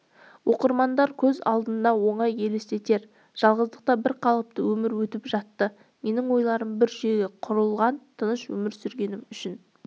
оқырмандар көз алдына оңай елестетер жалғыздықта бірқалыпты өмір өтіп жатты менің ойларым бір жүйеге құрылған тыныш өмір сүргенім үшін